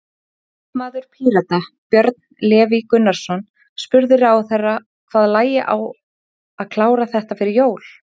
Þingmaður Pírata, Björn Leví Gunnarsson, spurði ráðherra hvað lægi á að klára þetta fyrir jól?